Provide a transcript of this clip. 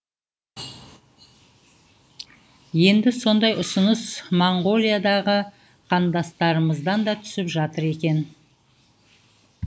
енді сондай ұсыныс моңғолиядағы қандастарымыздан да түсіп жатыр екен